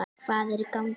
Hvað er í gangi!